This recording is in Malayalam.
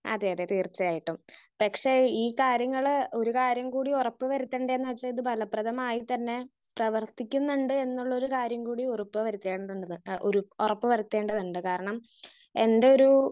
സ്പീക്കർ 1 അതെ അതെ തീർച്ചയായിട്ടും. പക്ഷെ ഈ കാര്യങ്ങള് ഒരു കാര്യം കൂടി ഉറപ്പ് വരുത്തണ്ടെന്ന് വെച്ചാ ഇത് ഫലപ്രതമായി തന്നെ പ്രവർത്തിക്കുന്നുണ്ട് എന്നുള്ളൊരു കാര്യം കൂടി ഉറപ്പ് വരുത്തേണ്ടതുണ്ട്. ആഹ് ഉറപ്പു വരുത്തേണ്ടതുണ്ട്. കാരണം എന്റൊരു